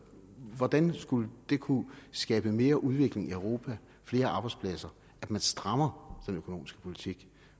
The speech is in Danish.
hvordan skulle det kunne skabe mere udvikling i europa flere arbejdspladser at man strammer den økonomiske politik